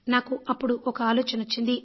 నాకు అప్పుడు ఒక ఆలోచన వచ్చింది